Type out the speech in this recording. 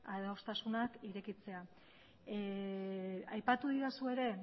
adostasunak irekitzea aipatu didazu ere